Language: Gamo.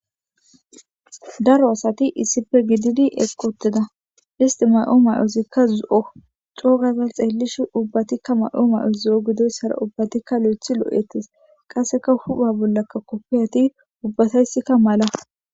daro asati iisipe gididi eqotida histi may7oo may7oosikka zuzu7o coogazal xeellish ubbatikka may7oo may7o zu7o gidoyssara ubbatikka lo7ethi loo7etis qasseka hupha bollaka koppiyati ubbatayssikka mala